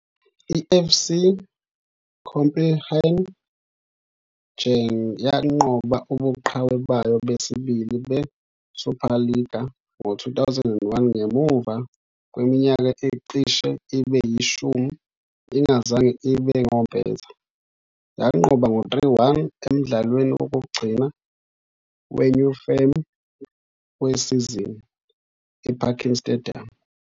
I-FC Copenhagen yanqoba ubuqhawe bayo besibili beSuperliga ngo-2001 ngemuva kweminyaka ecishe ibe yishumi ingazange ibe ngompetha, yanqoba ngo 3-1 emdlalweni wokugcina weNew Firm wesizini, eParken Stadium.